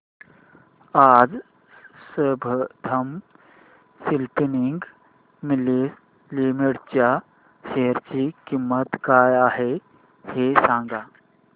आज Sambandam spinning mills limited च्या share ची किंमत काय आहे हे सांगा